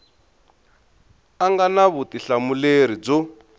a nga na vutihlamuleri byo